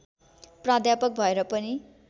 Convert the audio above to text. प्राध्यापक भएर पनि